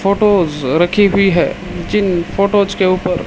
photos रखी हुई है जिन फोटोज के ऊपर--